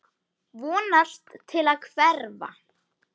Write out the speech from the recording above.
Vonast til að hverfa.